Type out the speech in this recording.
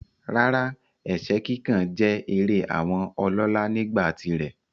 Rárá, ẹ̀sẹ́ kíkàn jẹ́ eré àwọn ọlọ́lá nígbà tirẹ̀.